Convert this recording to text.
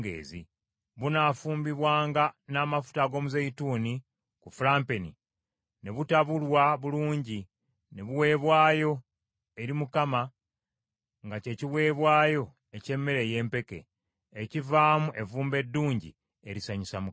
Bunaafumbibwanga n’amafuta ag’omuzeeyituuni ku fulampeni, ne butabulwa bulungi, ne buweebwayo eri Mukama nga kye kiweebwayo eky’emmere ey’empeke, ekivaamu evvumbe eddungi erisanyusa Mukama .